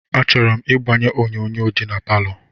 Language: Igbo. Achọrọ m ịgbanye onyonyo nọ na palọ